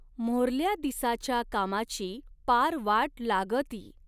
मोऱ्हल्या दिसाच्या कामाची पार वाट लागऽती.